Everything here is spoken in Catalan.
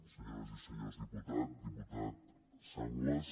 senyores i senyors diputats diputat sanglas